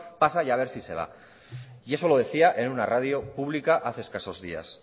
pasa y a ver si se va y eso lo decía en una radio pública hace escaso días